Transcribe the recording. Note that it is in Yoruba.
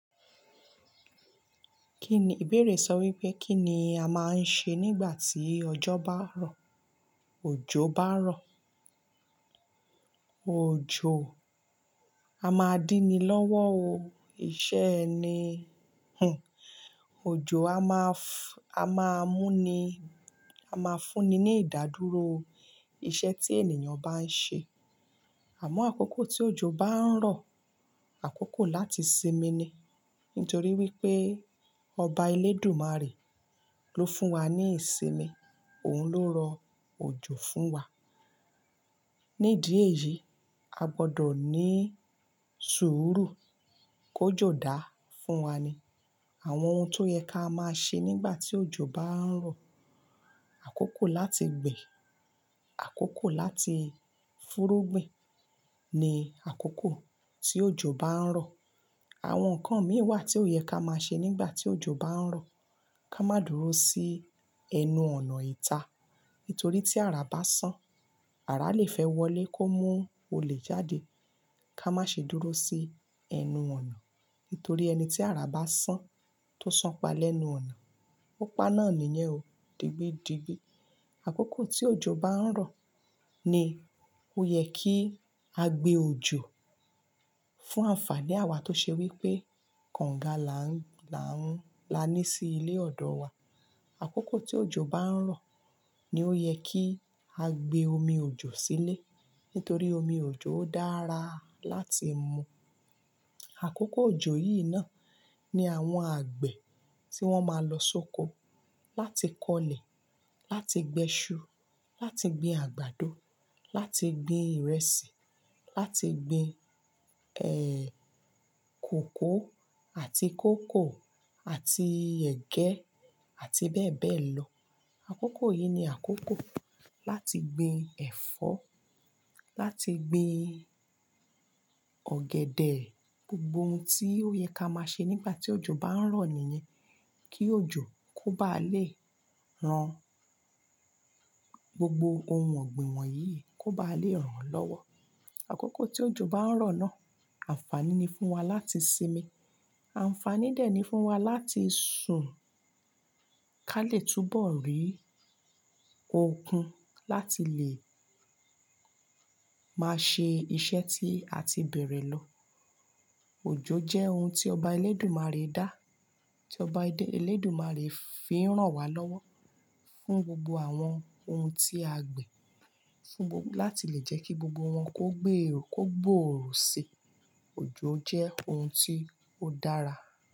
Kí ni, ìbéèrè sọ wípé kí ni a máa ń ṣe nígbà tí ọjọ́ bá rọ̀? Òjò bá rọ̀. Òjò, a máa din ni lọ́wọ́ o. Iṣẹ́ ẹni, hhn, òjò a máa f-- a máa mú ni, a máa fúnni ní ìdádúró iṣẹ́ tí ènìyàn bá ń ṣe. Àmọ́ àkókò tí òjò bá ń rọ̀, àkókò láti sinmi ni. Nítorí wípé Ọba Elédùmarè ló fún wa ní ìsinmi, òun ló rọ òjò fún wa. Ní ìdí èyí, a gbọ́ dọ̀ ní sùúrù kí òjò dáa fún wa. Àwọn ohun tó yẹ ká máa ṣe nígbà tí òjò bá ń rọ̀, àkókò láti gbin, àkókò láti fúrúgbìn ni àkókò tí òjò bá ń rọ̀. Àwọn ǹkan mí wà tí ó yẹ ká máa ṣe nígbà tí òjò bá ń rọ̀. Ka má dúró sí ẹnu ọ̀nà ìta, nítorí tí àrá bá sán, àrá le fẹ́ wọlé kó mú olè jáde. Ka má ṣe dúró sí ẹnu ọ̀nà, nítorí ẹni tí àrá bá sán tó sanpa lẹ́nu ọ̀nà, ó pa náà nìyẹn o, di gbi, digbi. Àkókò tí òjò bá ń rọ̀ ni ó yẹ kí a gbe òjò fún ànfàní àwa tó ṣe wípé konga là ń, là ń, láni sí ilé ọ̀dọ̀ wa. Àkókò tí òjò bá ń rọ̀ ni ó yẹ kí a gbe omi òjò sílé, nítorí omi òjò dára láti mu. Àkókò òjò yìí náà ni àwọn àgbẹ̀ tí wọ́n máa lọ sóko láti kọ́lẹ̀, láti gbin iṣu, láti gbin àgbàdo, láti gbin ìrẹsì, láti gbin, ẹ, kòkó àti kókò àti ẹ̀gẹ́ àti bẹ́ẹ̀ bẹ́ẹ̀ lọ. Àkókò yìí ni àkókò láti gbin ẹ̀fọ́, láti gbin ọ̀gẹ̀dẹ̀. Gbogbo ohun tí ó yẹ ká máa ṣe nígbà tí òjò bá ń rọ̀ nìyẹn. Kí òjò kó bá lè ran gbogbo ohun ọ̀gbìn wọ̀nyí, kó bá lè ran lọ́wọ́. Àkókò tí òjò bá ń rọ̀ náà ànfàní ni fún wa láti sinmi. Ànfàní dè ẹ́ ni fún wa láti sùn ká lè túbọ̀ rí okun láti lè máa ṣe iṣẹ́ tí a ti bẹ̀rẹ̀ lọ. Òjò jẹ́ ohun tí Ọba Elédùmarè dá, tí Ọba Elédùmarè fi ń ràn wá lọ́wọ́ fún gbogbo àwọn ohun tí a gbìn. Fún gbog-- láti lè jẹ́ kí gbogbo wọn kó gbé eérò kó gbòòrò sí. Òjò jẹ́ ohun tí ó dára.